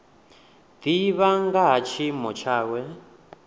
divha nga ha tshiimo tshawe